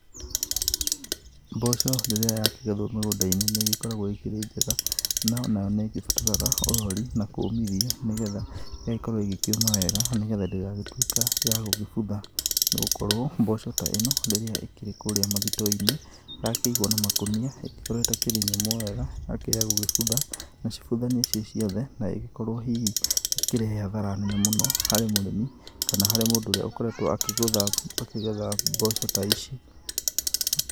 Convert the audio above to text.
Mboco rĩrĩa yakĩgethwo mũgũnda-inĩ nĩ ĩgĩkoragwo ĩkĩrĩ njega, na nayo nĩ ĩgĩbataraga ũrori na kũũmithia nĩ getha, ĩgagĩkorwo ĩgĩkĩũma wega nĩ getha ndĩgagĩtũĩka ya gũkĩbutha, nĩ gũkorwo mboco ta ĩno, rĩrĩ ĩkĩrĩ kũrĩa mathito-inĩ, yakĩigwo na makũnia, ĩngĩkorwo ĩtakĩrĩ nyũmũ wega, gũgĩbutha, na cibuthanie ciĩ ciothe, na ĩgĩkorwo hihi ĩkĩrehe hathara nene mũno harĩ mũrĩmi kana he mũndũ ũrĩa akoretwo akĩgetha mboco ta ici.